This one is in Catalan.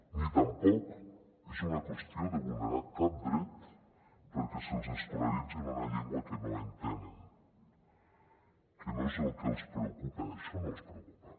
ni tampoc és una qüestió de vulnerar cap dret perquè se’ls escolaritzi en una llengua que no entenen que no és el que els preocupa això no els preocupa